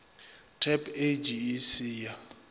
tab age e se ya